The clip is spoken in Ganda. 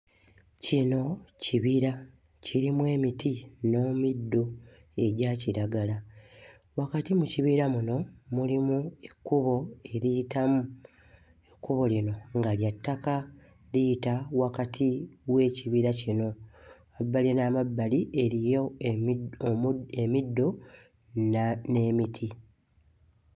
Kino kibira kirimu emiti n'emuddo egya kiragala. Wakati mu kibira muno mulimu ekkubo eriyitamu, ekkubo lino nga lya ttaka. Liyita wakati w'ekibira kino. Mu mabbali n'amabbali eriyo emi omu emiddo na n'emiti.